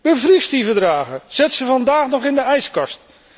Bevries die verdragen, zet ze vandaag nog in de ijskast!